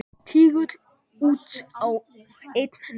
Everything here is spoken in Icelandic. Tígull út og einn niður.